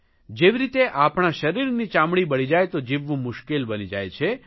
જેવી રીતે આપણા શરીરની ચામડી બળી જાય તો જીવવું મુશ્કેલ બની જાય છે